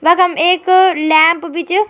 वखम एक लैंप भी च।